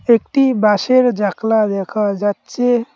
একটি বাঁশের জাকলা দেখা যাচ্ছে।